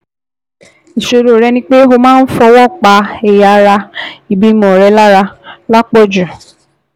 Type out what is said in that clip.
Ìṣòro rẹ ni pé o máa ń fọwọ́ pa ẹ̀yà ara ìbímọ rẹ lára lápò jù